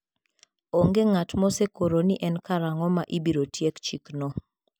Onge ng'at mosekoro ni en karang'o ma ibiro tiek chikno.